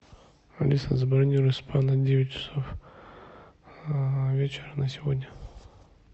алиса забронируй спа на девять часов вечера на сегодня